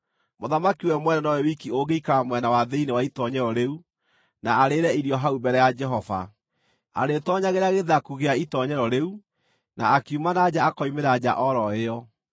Mũthamaki we mwene nowe wiki ũngĩikara mwena wa thĩinĩ wa itoonyero rĩu na arĩĩre irio hau mbere ya Jehova. Arĩĩtoonyagĩra gĩthaku gĩa itoonyero rĩu, na akiuma na nja akoimĩra njĩra o ro ĩyo.”